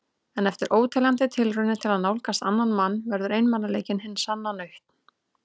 En eftir óteljandi tilraunir til að nálgast annan mann verður einmanaleikinn hin sanna nautn.